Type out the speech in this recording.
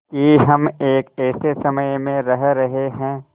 कि हम एक ऐसे समय में रह रहे हैं